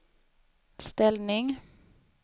ställning